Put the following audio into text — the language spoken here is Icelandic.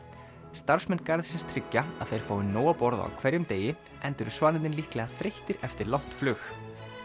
starfsmenn garðsins tryggja að þeir fái nóg að borða á hverjum degi enda eru svanirnir líklega þreyttir eftir langt flug